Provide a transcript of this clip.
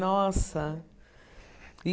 Nossa! E